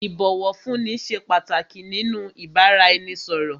Ìbọ̀wọ̀fúnni ṣé pàtàkì nínú ìbáraẹnisọ̀rọ̀.